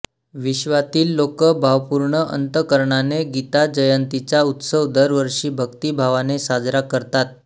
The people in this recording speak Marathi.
विश्वातील लोक भावपूर्ण अंतःकरणाने गीताजयंतीचा उत्सव दरवर्षी भक्तिभावाने साजरा करतात